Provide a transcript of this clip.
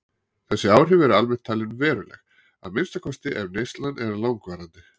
Þessi áhrif eru almennt talin veruleg, að minnsta kosti ef neyslan er langvarandi.